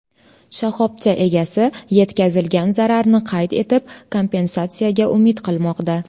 Shoxobcha egasi yetkazilgan zararni qayd etib, kompensatsiyaga umid qilmoqda.